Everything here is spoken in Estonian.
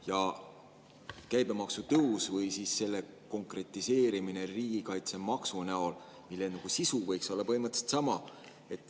Jätkan sealt, kus pooleli jäin, ehk seesama tulumaksu ja käibemaksu tõus või selle konkretiseerimine riigikaitsemaksu näol, mille sisu võiks olla põhimõtteliselt sama.